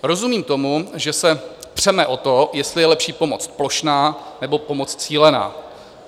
Rozumím tomu, že se přeme o to, jestli je lepší pomoc plošná, nebo pomoc cílená.